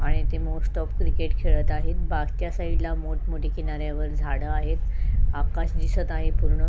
आणि ती मोस्ट अ क्रिकेट खेळत आहे मागच्या साईडला मोट मोठी किनाऱ्यावर झाड आहेत आकाश दिसत आहे पूर्ण --